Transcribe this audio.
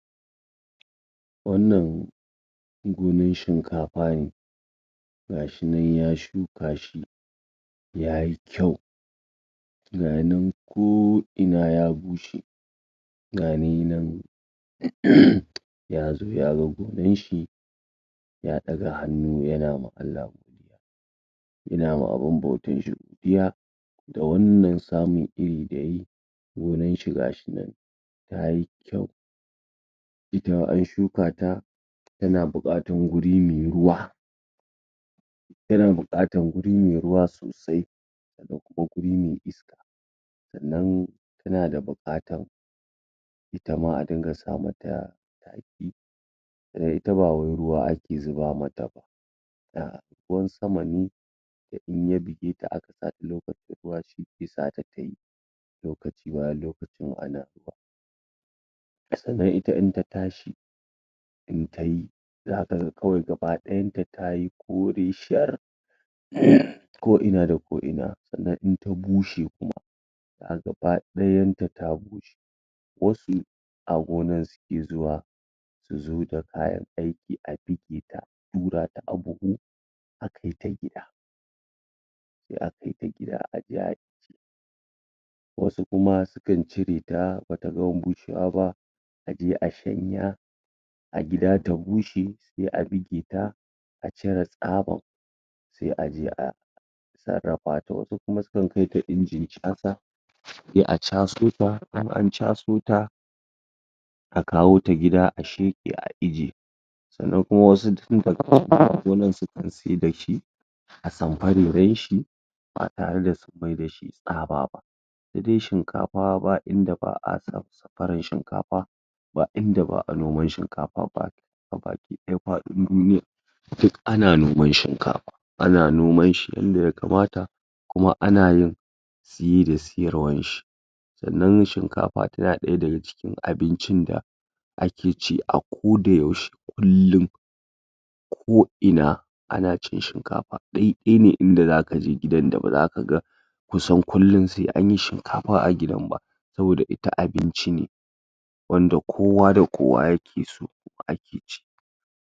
Wannan gonan shinkapa ne ga ya nan ya shuka shi, ya yi kyau ga ya nan ko'ina ya bushe ya zo ya ga gonan shi, ya ɗaga hannu yana ma Allah ya na ma abun bautan shi da wannan samun iri da ya yi, gonan shi ga shi nan ta yi kyau ita in an shuka ta, tana buƙatan guri mai ruwa tana buƙatan guri mai ruwa sosai da kuma guri mai iska sannan suna da buƙatan ita ma a dinga sa mata taki, ita ba wai ruwa ake zuba mata ba ruwan sama ne da in ya buge ta aka lokacin ruwa, sai ya sa ta ta yi, lokacin ruwa sannan ita in ta tashi in ta yi, za ka ga kawai gabaɗayanta ta yi kore shar ko ina da ko ina, sannan in ta bushe kuma gabaɗayanta ta bushe, mafi a daga gonan suke zuwa su zo da kayan aiki, a buge ta a ɗurata a buhu a kaita gida sai a kaita gida a je a wasu kuma su kan cire ta ba ta gama bushewa ba, a je a shanya a gida ta bushe, sai a buge ta, a cire tsabar sai a je a sarrafa ta, wasu kuma sukan so ta ingin chasa sai a chaso ta, in an chaso ta a kawo ta gida, a sheƙe a ije sannan kuma wasu tun dga gonan suke saida shi a sampareren shi ba tare da sun mai da shi tsaba ba sai dai shinkapa ba inda ba'a samparan shinkapa ba inda ba'a noman shinkapa, gabakiɗaya paɗin duniya duk ana noman shinkapa, ana noman shi inda ya kamata koma ana yin siye da siyarwanshi sannan shinkapa tana ɗaya daga cikin abincin da ake ci, a ko da yaushe kullum ko ina ana cin shinkapa, ɗai ɗai ne inda zaka je gidan da baza ka ga kusan kullum sai anyi shinkapa a gidan ba, saboda ita abinci ne wanda kowa da kowa yake so, kuma ake ci.